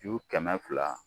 Ju kɛmɛ fila